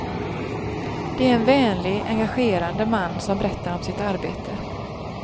Det är en vänlig, engagerande man som berättar om sitt arbete.